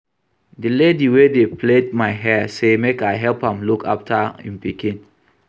The lady wey dey plait my hair say make I help am look after im pikin